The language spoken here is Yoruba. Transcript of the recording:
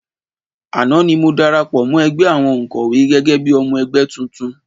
Àná ni mo darapọ̀ mọ́ ẹgbẹ́ àwọn òǹkọ́wé gẹ́gẹ́ bí i ọmọ ẹgbẹ́ tuntun